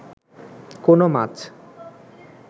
কোনো মাছ